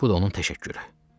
Bu da onun təşəkkürü.